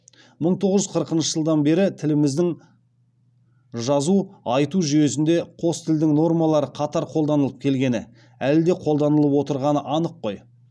мың тоғыз жүз қырықыншы жылдан бері тіліміздің жазу айту жүйесінде қос тілдің нормалары қатар қолданылып келгені әлі де қолданылып отырғаны анық қой